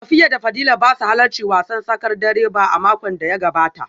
Safiya da Fadila ba su halarci wasan tsakar dare ba a makon da ya gabata